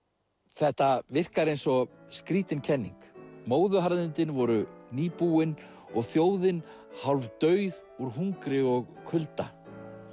þetta virkar eins og skrýtin kenning móðuharðindin voru nýbúin og þjóðin hálf dauð úr hungri og kulda